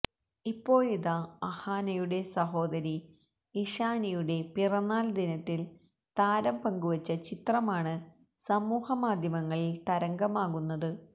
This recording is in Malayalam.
ഇപ്പോഴിതാ അഹാനയുടെ സഹോദരി ഇഷാനിയുടെ പിറന്നാൾ ദിനത്തിൽ താരം പങ്കുവച്ച ചിത്രമാണ് സമൂഹ മാധ്യമങ്ങളിൽ തരംഗമാകുന്നത്